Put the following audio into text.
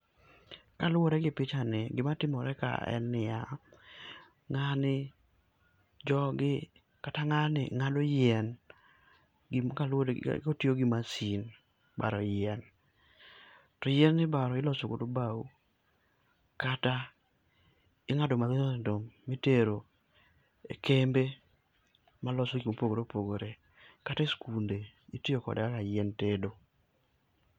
kaluwore gi pichani gia timore ka en nia, ngani ng'ado yien kotiyo gi machine baro yien ni ibaro iloso godo bao kata ingado matindo tindo mitero e kembe maloso gik mopogore opogore, kata e skunde itiyo kode kaka yiend tedo.